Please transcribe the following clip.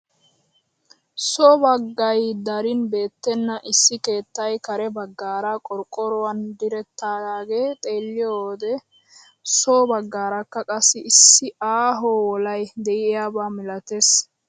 so baggay darin beettena issi keettay kare baggaara qorqqoruwaan direttidagaa xeelliyoo wode so baggaaraka qassi issi aaho wolay de'iyaaba milatees!